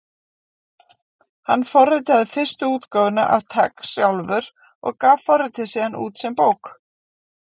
Hann forritaði fyrstu útgáfuna af TeX sjálfur og gaf forritið síðan út sem bók.